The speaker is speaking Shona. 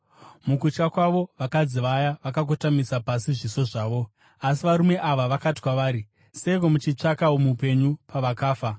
Mukutya kwavo, vakadzi vaya vakakotamisa pasi zviso zvavo, asi varume ava vakati kwavari, “Seiko muchitsvaka mupenyu pakati pavakafa?